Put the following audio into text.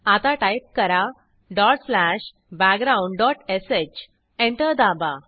आता टाईप करा dot slash backgroundश एंटर दाबा